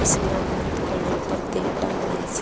इसमें बहुत घने पर्दे टंग रहे स।